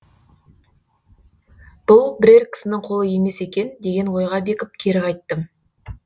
бұл бірер кісінің қолы емес екен деген ойға бекіп кері қайттым